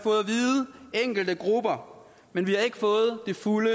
enkelte grupper men vi har ikke fået det fulde